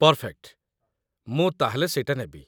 Perfect! ମୁଁ ତା'ହେଲେ ସେଇଟା ନେବି।